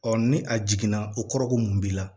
ni a jiginna o kɔrɔ ko mun b'i la